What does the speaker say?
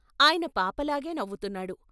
ఆయన పాప లాగే నవ్వుతున్నాడు.